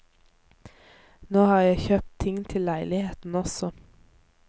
Nå har jeg kjøpt ting til leiligheten også.